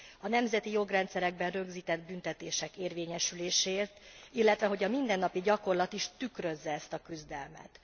A nemzeti jogrendszerekben rögzített büntetések érvényesüléséért, illetve, hogy a mindennapi gyakorlat 's tükrözze ezt a küzdelmet.